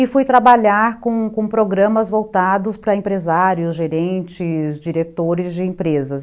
e fui trabalhar com com programas voltados para empresários, gerentes, diretores de empresas.